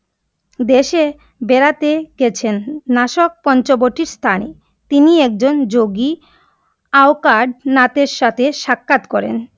দেশে বেরাতে গেছেন, নাশক পঞ্চবটী স্থানে, তিনি একজন যোগী, নাথের সাথে সাক্ষাৎ করেন ।